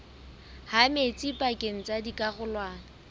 ha metsi pakeng tsa dikarolwana